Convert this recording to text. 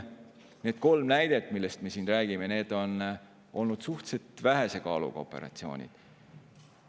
Need kolm näidet, millest me siin räägime, on olnud suhteliselt vähese kaaluga operatsioonid.